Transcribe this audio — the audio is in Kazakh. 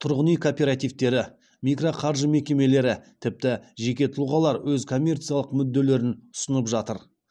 тұрғын үй кооперативтері микроқаржы мекемелері тіпті жеке тұлғалар өз коммерциялық мүдделерін ұсынып жатыр